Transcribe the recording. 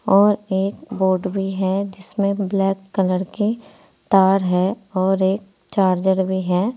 और एक बोर्ड भी है जिसमें ब्लैक कलर के तार है और एक चार्जर भी है।